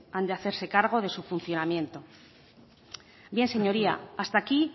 han de hacerse cargo de su funcionamiento bien señoría hasta aquí